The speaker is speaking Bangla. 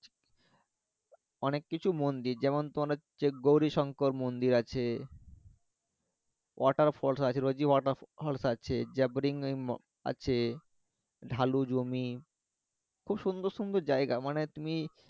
অনেক কিছু মন্দির যেমন তোমার হচ্ছে গৌরি সংকর মন্দির আছে আছে জ্যাব্রিং আছে ঢালু জমি খুব সুন্দর সুন্দর জায়গা মানে তুমি